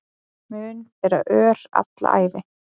Mun bera ör alla ævi